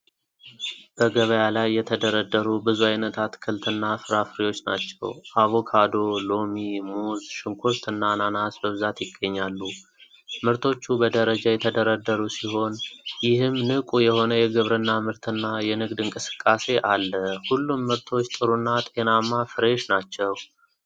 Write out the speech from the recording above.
በገበያ ላይ የተደረደሩ ብዙ ዓይነት አትክልትና ፍራፍሬዎች ናቸው። አቮካዶ፣ ሎሚ፣ ሙዝ፣ ሽንኩርትና አናናስ በብዛት ይገኛሉ። ምርቶቹ በደረጃ የተደረደሩ ሲሆን፣ ይህም ንቁ የሆነ የግብርና ምርትና የንግድ እንቅስቃሴ አለ። ሁሉም ምርቶች ጥሩና ጤናማ ፍሬሽ ናቸው።